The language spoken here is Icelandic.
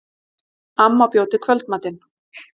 Amma bjó til kvöldmatinn.